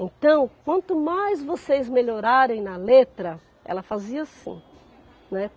Então, quanto mais vocês melhorarem na letra, ela fazia assim, né?